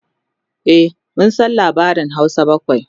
e mun San labarin Hausa bakwai